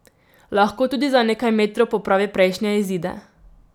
Lahko tudi za nekaj metrov popravi prejšnje izide.